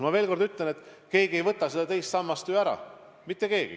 Ma veel kord ütlen, et keegi ei võta seda teist sammast ju ära – mitte keegi.